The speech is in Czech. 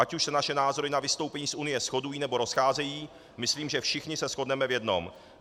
Ať už se naše názory na vystoupení z Unie shodují, nebo rozcházejí, myslím, že všichni se shodneme v jednom.